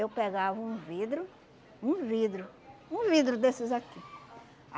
Eu pegava um vidro, um vidro, um vidro desses aqui.